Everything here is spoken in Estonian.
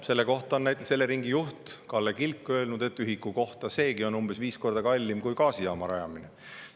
Selle kohta on näiteks Eleringi juht Kalle Kilk öelnud, et ühiku kohta seegi on umbes viis korda kallim kui gaasijaama rajamine.